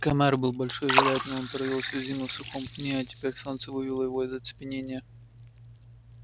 комар был большой вероятно он провёл всю зиму в сухом пне а теперь солнце вывело его из оцепенения